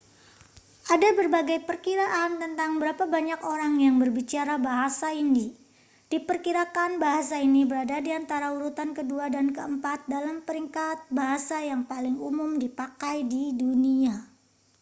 ada berbagai perkiraan tentang berapa banyak orang yang berbicara bahasa hindi diperkirakan bahasa ini berada di antara urutan kedua dan keempat dalam peringkat bahasa yang paling umum dipakai di dunia